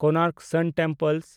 Konark sun temple